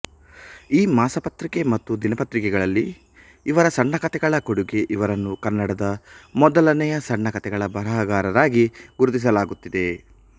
ಈ ಮಾಸಪತ್ರಿಕೆ ಮತ್ತು ದಿನಪತ್ರಿಕೆಗಳಲ್ಲಿ ಇವರ ಸಣ್ಣ ಕಥೆಗಳ ಕೊಡೂಗೆ ಇವರನ್ನು ಕನ್ನಡದ ಮೊದಲನೆಯ ಸಣ್ಣ ಕಥೆಗಳ ಬರಹಗಾರರಾಗಿ ಗುರುತಿಸಲಾಗುತ್ತಿದೆ